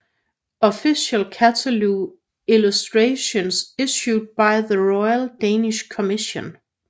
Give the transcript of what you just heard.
Official Cataloque illustrations issued by the Royal Danish Commission